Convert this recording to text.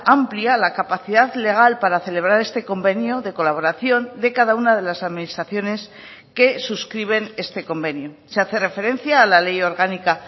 amplia la capacidad legal para celebrar este convenio de colaboración de cada una de las administraciones que suscriben este convenio se hace referencia a la ley orgánica